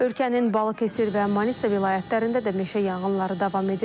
Ölkənin Balıkəsir və Manisa vilayətlərində də meşə yanğınları davam edir.